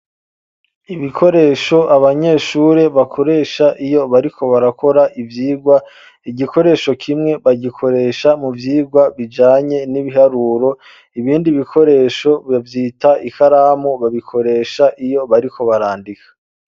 Ibikoresho, abanyeshure bakoresha, iyo bariko barakora ivyigwa; igikoresho kimwe, bagikoresha mu vyigwa, bijanye n'ibiharuro, ibindi bikoresho, bavyita ikaramu, babikoresha iyo bariko, barandika.